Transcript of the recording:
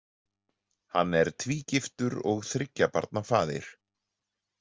Hann er tvígiftur og þriggja barna faðir.